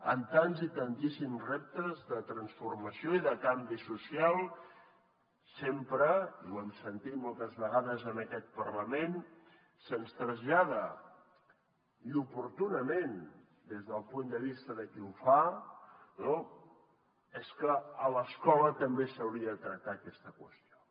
amb tants i tantíssims reptes de transformació i de canvi social sempre i ho hem sentit moltes vegades en aquest parlament se’ns trasllada i oportunament des del punt de vista de qui ho fa no és que a l’escola també s’hauria de tractar aquesta qüestió